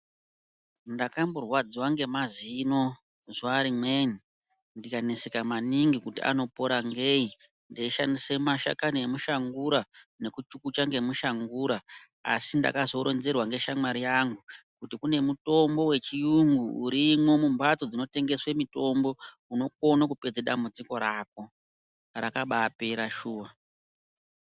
Ndakamborwadziwa ngemazino zuwa rimweni, ndikakaneseka maningi kuti anopora ngeyi. Ndeishandise mashakani emushangura, nekuchukuta ngemushangura ,asi ndakazoronzerwa ngeshamwari yangu, kuti kune mutombo wechiyungu urimwo mumphatso dzinotengeswe mitombo, unokone kupedze dambudziko rako. Rakabaapera shuwa.